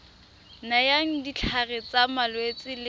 nayang ditlhare tsa malwetse le